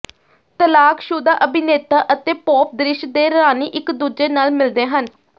ਤਲਾਕਸ਼ੁਦਾ ਅਭਿਨੇਤਾ ਅਤੇ ਪੌਪ ਦ੍ਰਿਸ਼ ਦੇ ਰਾਣੀ ਇਕ ਦੂਜੇ ਨਾਲ ਮਿਲਦੇ ਹਨ